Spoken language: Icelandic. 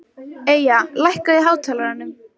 Eyja, lækkaðu í hátalaranum.